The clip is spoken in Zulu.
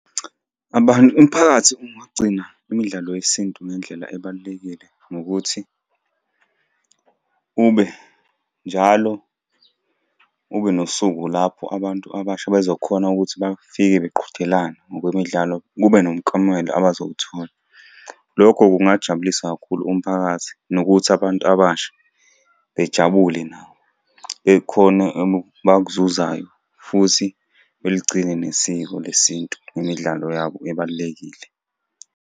Abantu umphakathi ungagcina imidlalo yesintu ngendlela ebalulekile ngokuthi ube njalo ube nosuku lapho abantu abasha bezokhona ukuthi bafike beqhudelana ngokwemidlalo, kube nomuklomela abazowuthola. Lokho kungajabulisa kakhulu umphakathi nokuthi abantu abasha bejabule nabo. Bekhone abakuzuzayo, futhi beligcine nesiko lesintu ngemidlalo yabo ebalulekile.